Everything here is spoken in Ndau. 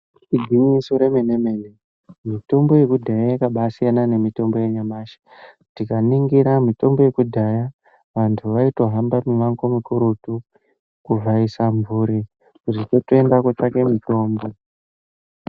Igwinyiso remene mene mitombo yekudhaya yakaba siyana nemitombo yanyamashi tikaningira mitombo yekudhaya vantu vaitohamba mimango mukurutu kuvhaisa mhuri zvekuenda kutsvake mitombo.